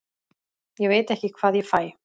Ég veit ekki hvað ég fæ.